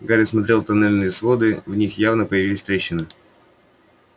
гарри смотрел тоннельные своды в них явно появились трещины